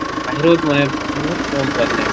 বাহিৰত মানে বহুত কম পোৱা যায়।